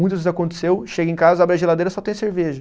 Muitas vezes aconteceu, chega em casa, abre a geladeira e só tem cerveja.